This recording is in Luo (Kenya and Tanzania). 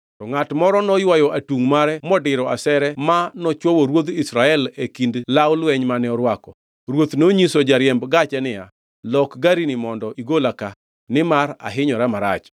To ngʼat moro noywayo atungʼ mare modiro asere ma nochwowo ruodh Israel e kind law lweny mane orwako. Ruoth nonyiso jariemb gache niya, “Lok garini mondo igola ka, nimar ahinyora marach.”